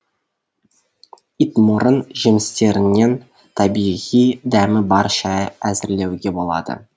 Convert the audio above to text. итмұрын жемістерінен табиғи дәмі бар шай әзірлеуге болады